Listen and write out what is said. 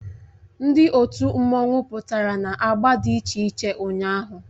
Ndị otu mmanwụ pụtara na agba dị iche iche ụnyahụ